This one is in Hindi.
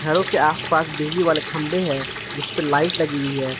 घरों के आसपास बिजली वाले खंभे है जिस पर लाइट लगी हुई है।